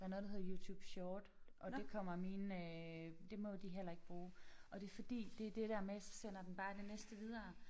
Der noget der hedder YouTube Short og det kommer mine øh det må de heller ikke bruge og det fordi det er det der med så sender den bare det næste videre